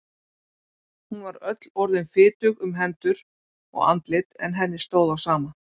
Hún var öll orðin fitug um hendur og andlit en henni stóð á sama.